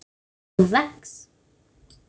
þú vex.